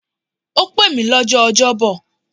Ó pè mí lọ́jọ́ Ọjọ́ bọ̀.